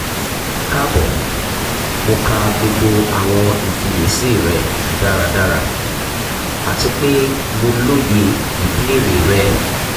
kaabo mo ka gbogbo awọn ifiyesi rẹ daradara ati pe mo loye ibeere rẹ